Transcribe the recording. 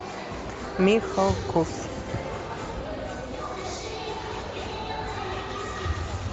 михалков